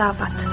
Xərabat.